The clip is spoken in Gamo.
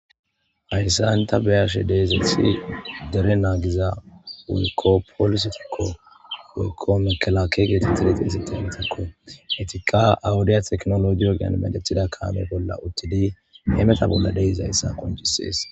Haysan ta beyashe dizays issi dere nagiza woykko polisetiko woyko mekelakiya getetizaytiko ,etika ha wodiya tekinolojiyan medhetida kame bolla utid hemeta bolla dizaysa qoncises.